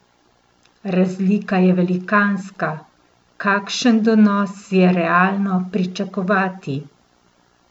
Razlika je velikanska, kakšen donos je realno pričakovati?